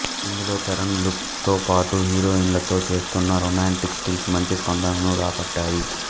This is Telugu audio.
ఇందులో చరణ్ లుక్ తో పాటు హీరోయిన్లతో చేస్తున్న రొమాంటిక్ స్టిల్స్ మంచి స్పందనను రాబట్టాయి